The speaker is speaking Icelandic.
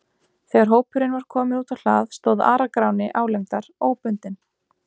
Þegar hópurinn var kominn út á hlað stóð Ara-Gráni álengdar, óbundinn.